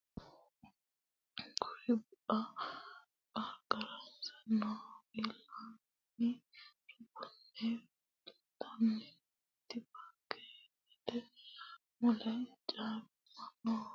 Kuri bu a qarqarase noo ilaalaamu dubbinni fultannoti paarkete mule Caamonna Abbaayyu bu a hee ra lamu garbi mulese garbuwa no Aleenni kulli bu a Ilaalunni hee ranna paarkete mule noo.